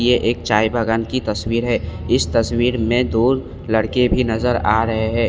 यह एक चाय बागान की तस्वीर है इस तस्वीर में दो लड़के भी नजर आ रहे है।